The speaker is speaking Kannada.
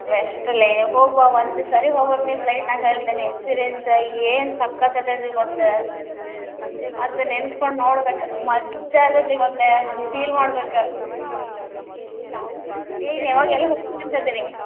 Best ಲೇ ಹೋಗಿ ಬಾ ಒಂದ್ ಸಾರೆ ಹೋಗ್ಬೇಕ್ ನೀ flight ಹೇಳ್ತೇನಿ experience ಏನ್ ಸಕತ್ ಅದ ಆದ್ ಗೊತ್ತ್ ಆದ್ ನೆನಸ್ಕೊಂಡ್ ನೋಡ್ಬೇಕ ಮಜ್ಜಾ ಇರ್ತೇತಿ ಗೊತ್ತ್ feel ಮಾಡ್ಬೇಕ ಅಂತ ಅದಿರಿ?